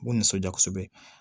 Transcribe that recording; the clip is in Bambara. U nisɔndiya kosɛbɛ